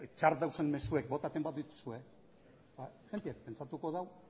txarrak dauden mezuek botatzen baduzue jendeak pentsatuko du